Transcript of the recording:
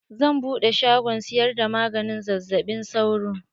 Zan buɗe shagon siyar da maganin zazzaɓin sauro.